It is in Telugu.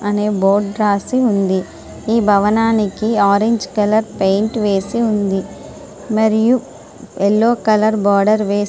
అని బోర్డు రాసి ఉంది . ఈ భవనానికి ఆరెంజ్ కలర్ పెయింట్ వేసి ఉంది . మరియు యెల్లో కలర్ బోర్డు వేస్--